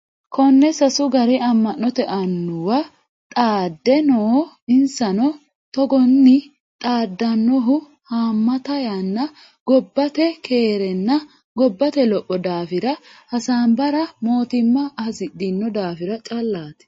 Kone sasu gari ama'note annuwa xaadde no insano togoni xaadanohu hamatta yanna gobnate keerinna gobbate lopho daafira hasaabbara mootimma hasidhano daafira callati.